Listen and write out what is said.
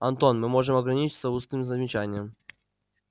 антон мы можем ограничиться устным замечанием